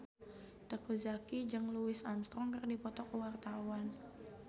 Teuku Zacky jeung Louis Armstrong keur dipoto ku wartawan